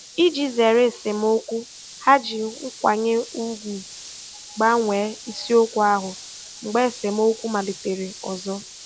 Iji zere esemokwu, ha ji nkwanye ùgwù gbanwee isiokwu ahụ mgbe esemokwu malitere ọzọ.